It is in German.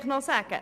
Zu Grossrat